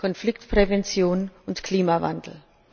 Konfliktprävention und Klimawandel.